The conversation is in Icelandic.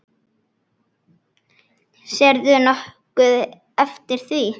Sérðu nokkuð eftir því?